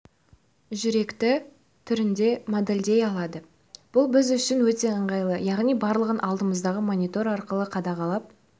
жүректі түрінде модельдей алады бұл біз үшін өте ынғайлы яғни барлығын алдымыздағы монитор арқылы қадағалап